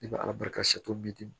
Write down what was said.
I bɛ ala barika to bi